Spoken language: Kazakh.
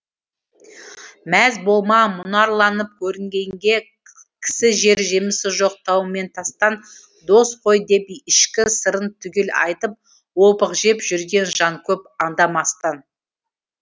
мәз болма мұнарланып көрінгенге кісі жер жемісі жоқ тау мен тастан дос қой деп ішкі сырын түгел айтып опық жеп жүрген жан көп аңдамастан